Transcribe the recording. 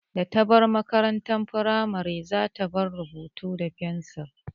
Da ta bar makarantar firamare za ta daina rubutu da fensir